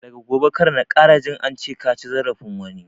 Daga gobe kar na ƙara jin ance kaci zarafin wani!